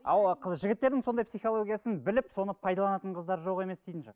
ал қыз жігіттердің сондай психологиясын біліп соны пайдаланатын қыздар жоқ емес дейтін шығар